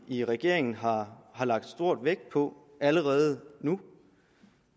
i regeringen har lagt stor vægt på allerede nu